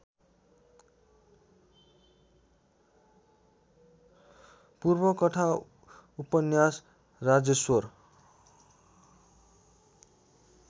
पूर्वकथा उपन्यास राजेश्वर